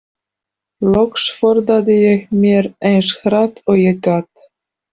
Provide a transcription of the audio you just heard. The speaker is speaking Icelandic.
Loks forðaði ég mér eins hratt og ég gat.